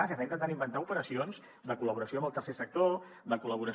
s’està intentant inventar operacions de col·laboració amb el tercer sector de collaboració